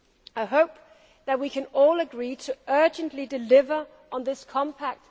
I hope that we can all agree to urgently deliver on this Compact.